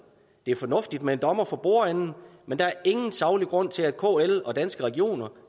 det er fornuftigt med en dommer for bordenden men der er ingen saglig grund til at kl og danske regioner